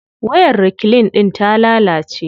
Wayar reclean din ta lalace.